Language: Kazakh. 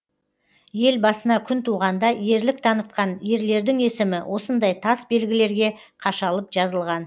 ел басына күн туғанда ерлік танытқан ерлердің есімі осындай тас белгілерге қашалып жазылған